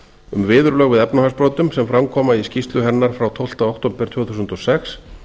um viðurlög við efnahagsbrotum sem fram koma í skýrslu hennar frá tólfti október tvö þúsund og sex